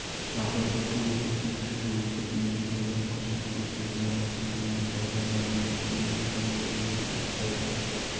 жағдайда туу көрсеткішті өсіп еңбек базарында ұсыныс өседі нормасы төмендеп пайда нормасының төмендеу заңы әрекетін бастайды